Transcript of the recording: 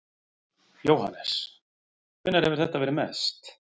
Jóhannes: Hvenær hefur þetta verið mest?